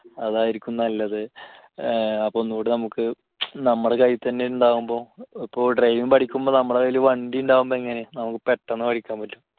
അതായിരിക്കും നല്ലത് അപ്പൊ ഒന്നൂടെ നമുക്ക് നമ്മുടെ കയ്യിൽ തന്നെ ഉണ്ടാകുമ്പോൾ ഇപ്പോൾ driving പഠിക്കുമ്പോൾ നമ്മുടെ കയ്യിൽ വണ്ടി ഉണ്ടാകുമ്പോൾ എങ്ങനെയാ നമുക്ക് പെട്ടെന്ന് പഠിക്കാൻ പറ്റും